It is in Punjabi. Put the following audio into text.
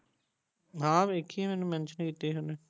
ਹਾਂ ਵੇਖੀ ਆ ਮੈਂ ਮੈਨੂੰ ਮੇਂਟੀਓਂ ਕੀਤੀ ਸੀ ਓਹਨੇ